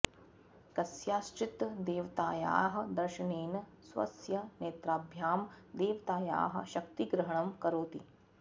कस्याश्चित् देवतायाः दर्शनेन स्वस्य नेत्राभ्यां देवतायाः शक्तिग्रहणं करोति